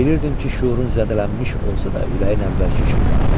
Bilirdim ki, şüurun zədələnmiş olsa da ürəyin əvvəlki kimi qalıb.